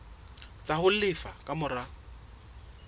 tsa ho lefa ka mora